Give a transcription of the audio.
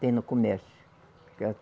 Tem no comércio.